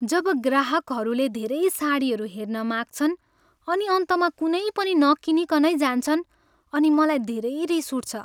जब ग्राहकहरूले धेरै साडीहरू हेर्न माग्छन् अनि अन्तमा कुनै पनि नकिनीकनै जान्छन् अनि मलाई धेरै रिस उठ्छ।